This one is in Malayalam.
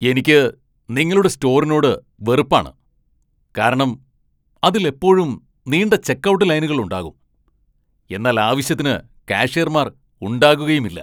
എനിക്ക് നിങ്ങളുടെ സ്റ്റോറിനോട് വെറുപ്പാണ്, കാരണം അതിൽ എപ്പോഴും നീണ്ട ചെക്ക്ഔട്ട് ലൈനുകൾ ഉണ്ടാകും, എന്നാൽ ആവശ്യത്തിന് കാഷ്യർമാർ ഉണ്ടാകുകയുമില്ല.